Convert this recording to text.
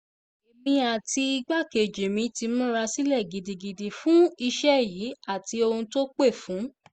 èmi àti igbákejì mi ti múra sílẹ̀ gidigidi fún iṣẹ́ yìí àti ohun tó pẹ́ fún